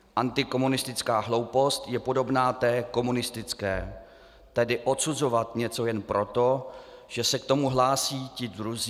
Antikomunistická hloupost je podobná té komunistické, tedy odsuzovat něco jen proto, že se k tomu hlásí ti druzí."